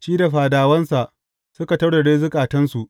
Shi da fadawansa, suka taurare zukatansu.